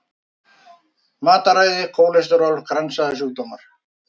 Matarræði, kólesteról, kransæðasjúkdómar.